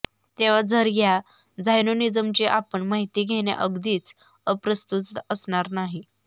तेव्हा जरा ह्या झायोनिझमची आपण माहिती घेणे अगदीच अप्रस्तुत असणार नाही